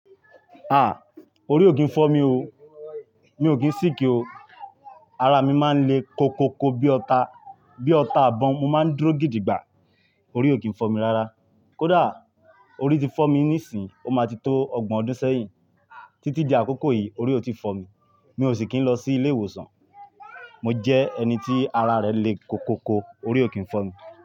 Ah! Orí ò kí ń fọ́ mi o. Mi ò kí ń sìkíi o. Ara mi máa ń le koko ko bí ọta, bí ọta bọ́n, mo máa ń dúró gidi gbà. Orí ò kí ń fọ́ mi rárá. Kódà, orí ti fọ́ mi nísìn, ó ma ti tó ọgbọ̀n ọdún sẹ́yìn. Títí di àkókò yìí orí ò ti fọ́ mi. Mi ò sì kí ń lọ sí ilé ìwòsàn. Mo jẹ́ ẹni tí ara rẹ̀ le koko ko, orí ò kí ń fọ́ mi.